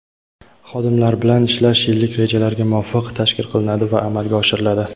Xodimlar bilan ishlash yillik rejalarga muvofiq tashkil qilinadi va amalga oshiriladi.